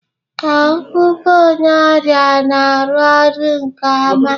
Ee, ngụgụ onye ọrịa na-arụ ọrụ nke ọma